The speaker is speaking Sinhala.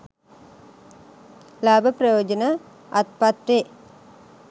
ලාභ ප්‍රයෝජන අත්පත් වේ.